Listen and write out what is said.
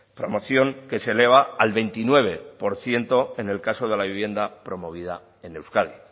promoción que se eleva al veintinueve por ciento en el caso de la vivienda promovida en euskadi